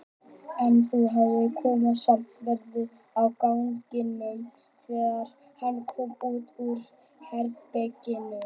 En nú hafði konan samt verið á ganginum þegar hann kom út úr herberginu.